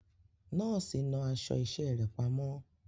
Nọ́ọ̀sì náà aṣọ iṣẹ́ rẹ̀ pamọ́.